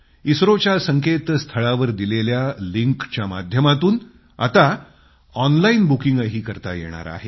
इस्त्रोच्या संकेतस्थळावर दिलेल्या लिंकच्या माध्यमातून आता ऑनलाईन बुकिंगही करता येणार आहे